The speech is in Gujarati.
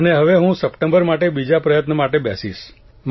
અને હવે હું સપ્ટેમ્બરમા બીજા પ્રયત્ન માટે બેસીશ